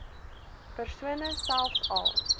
persone selfs al